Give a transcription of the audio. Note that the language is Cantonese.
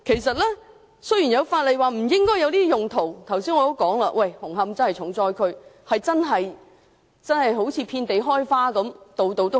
雖然法例已表明禁止上述用途，但正如我剛才提及，紅磡確實淪為重災區，違規私營龕場遍地開花。